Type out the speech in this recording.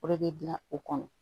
O de bɛ dilan o kɔnɔ